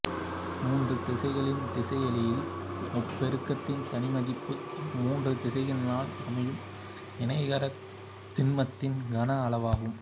மூன்று திசையன்களின் திசையிலி முப்பெருக்கத்தின் தனிமதிப்பு அம்மூன்று திசையன்களால் அமையும் இணைகரத்திண்மத்தின் கன அளவாகும்